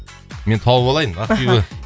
мен тауып алайын аха ақбибі